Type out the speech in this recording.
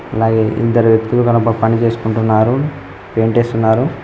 ఇద్దరు వ్యక్తులు కనుక పని చేసుకుంటున్నారు పెయింట్ చేస్తున్నారు.